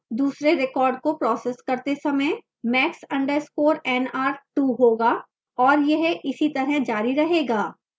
दूसरे record को processing करते समय max _ nr 2 होगा और यह इसी तरह जारी रहेगा